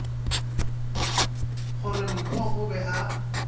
gore mpho o be a